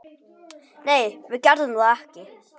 Nei, við gerðum það ekki.